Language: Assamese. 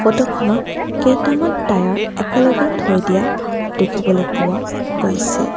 ফটো খনত কেইটামান টায়াৰ একেলগে থৈ দিয়া দেখিবলৈ পোৱা গৈছে।